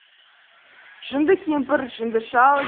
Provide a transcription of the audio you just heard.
жынды кемпір жынды шал